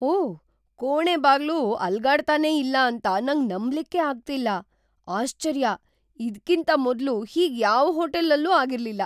ಓಹ್, ಕೋಣೆ ಬಾಗ್ಲು ಅಲ್ಗಡ್ತಾನೆ ಇಲ್ಲ ಅಂತ ನಂಗ್ ನಂಬ್ಲಿಕ್ಕೇ ಅಗ್ತಿಲ್ಲ. ಆಶ್ಚರ್ಯ, ಇದ್ಕಿಂತ ಮೊದ್ಲು ಹೀಗ್ ಯಾವ್ ಹೋಟೆಲ್ ಅಲ್ಲೂ ಆಗಿರ್ಲಿಲ್ಲ.